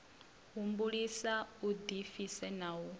humbulisa u ḓipfisa na u